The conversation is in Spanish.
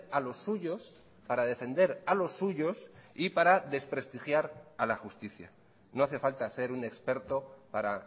a los suyos para defender a los suyos y para desprestigiar a la justicia no hace falta ser un experto para